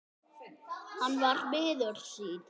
Hann var miður sín.